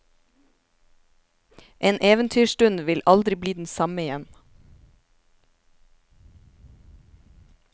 En eventyrstund vil aldri bli den samme igjen.